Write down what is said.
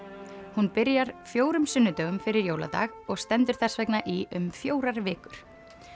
hún byrjar fjórða sunnudag fyrir jóladag og stendur þess vegna í um fjórar vikur